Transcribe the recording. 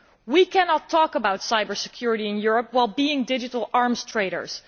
We cannot talk about cybersecurity in Europe while being digital arms traders.